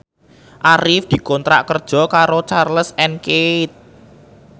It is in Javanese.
Arif dikontrak kerja karo Charles and Keith